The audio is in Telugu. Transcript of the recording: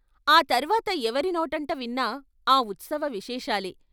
ఆ తర్వాత ఎవరి నోటంటవిన్నా ఆ ఉత్సవ విశేషాలే.